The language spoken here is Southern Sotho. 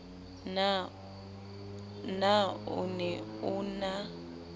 na o ne o na